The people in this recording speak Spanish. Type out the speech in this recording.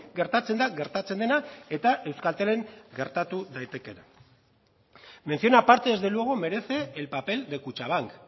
gertatzen da gertatzen dena eta euskaltelen gertatu daitekeena mención aparte desde luego merece el papel de kutxabank